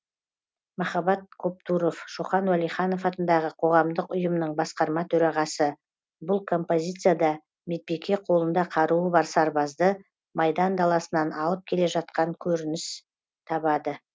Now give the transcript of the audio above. махаббат коптуров шоқан уәлиханов атындағы қоғамдық ұйымның басқарма төрағасы бұл композицияда медбике қолында қаруы бар сарбазды майдан даласынан алып келе жатқаны көрініс табады